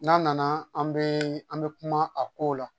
N'a nana an bɛ an bɛ kuma a ko la